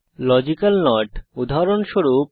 logical not উদাহরণস্বরূপ